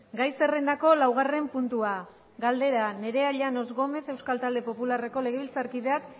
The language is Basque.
gai zerrendako laugarren puntua galdera nerea llanos gómez euskal talde popularreko legebiltzarkideak